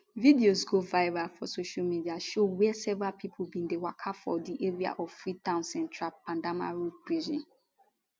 videos wey go viral for social media show wia several pipo bin dey waka from di area of freetown central pademba road prison